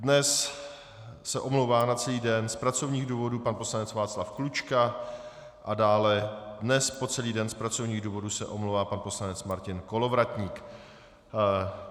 Dnes se omlouvá na celý den z pracovních důvodů pan poslanec Václav Klučka a dále dnes po celý den z pracovních důvodů se omlouvá pan poslanec Martin Kolovratník.